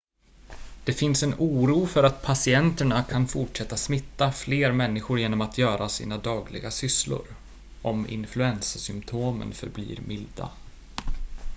det finns en oro för att patienterna kan fortsätta smitta fler människor genom att göra sina dagliga sysslor om influensasymptomen förblir milda